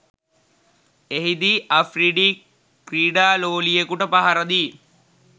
එහිදී අෆ්රිඩි ක්‍රීඩා ලෝලියෙකුට පහරදී